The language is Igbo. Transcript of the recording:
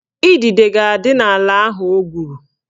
Idide ga-adị n'ala ahụ o gwuru